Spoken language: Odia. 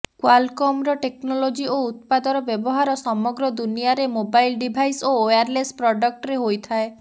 କ୍ବାଲକମର ଟେକ୍ନୋଲୋଜି ଓ ଉତ୍ପାଦର ବ୍ୟବହାର ସମଗ୍ର ଦୁନିଆର ମୋବାଇଲ୍ ଡିଭାଇସ୍ ଓ ଓୟାରଲେସ୍ ପ୍ରଡକ୍ଟରେ ହୋଇଥାଏ